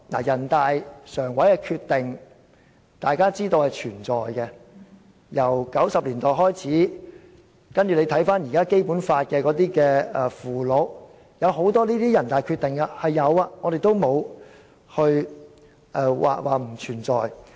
人大常委會的決定，大家都知道是存在的，由1990年代開始，然後到《基本法》現時的附件，有很多人大常委會的決定，是有的，我們沒有說它們並不存在。